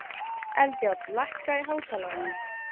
Eldjárn, lækkaðu í hátalaranum.